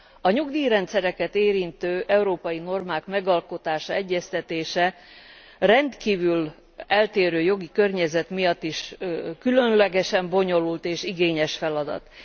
A nyugdíjrendszereket érintő európai normák megalkotása, egyeztetése a rendkívül eltérő jogi környezet miatt is különlegesen bonyolult és igényes feladat.